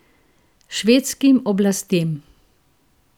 Švedskim oblastem.